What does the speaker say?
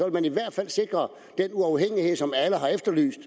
man i hvert fald sikre den uafhængighed som alle har efterlyst